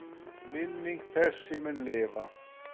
Minning þessi mun lifa.